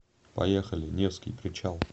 поехали невский причал